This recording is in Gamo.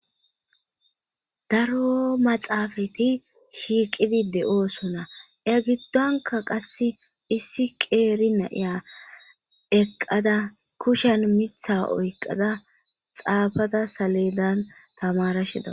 Daro maxaafati shiiqidi de'oosona e giddonka qasse issi qeeri naiya eqqada kushen mitha oyqada xaafada salilan tamarashida.